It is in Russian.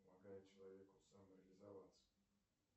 помогает человеку самореализоваться